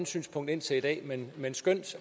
synspunkt indtil i dag men skønt